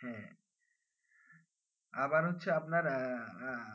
হ্যাঁ আবার হচ্ছে আপনার আহ আহ